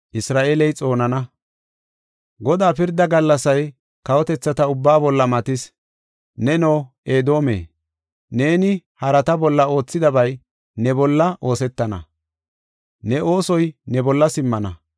Godaa pirda gallasay kawotethata ubbaa bolla matis. Neno Edoome, neeni harata bolla oothidabay ne bolla oosetana; ne oosoy ne bolla simmana.